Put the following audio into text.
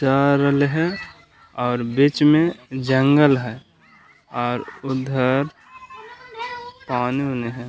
है और बीच में जंगल है और उधर पानी-उनी है।